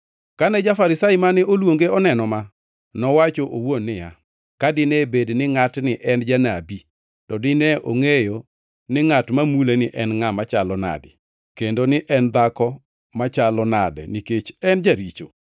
Kane ja-Farisai mane oluonge oneno ma, nowacho owuon niya, “Ka dine bed ni ngʼatni en janabi, to nine ongʼeyo ni ngʼat ma muleni en ngʼat machalo nade kendo ni en dhako machalo nade nikech en jaricho.”